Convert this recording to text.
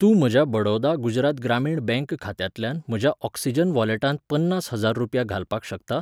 तूं म्हज्या बडौदा गुजरात ग्रामीण बँक खात्यांतल्यान म्हज्या ऑक्सिजन वॉलेटांत पन्नास हजार रुपया घालपाक शकता?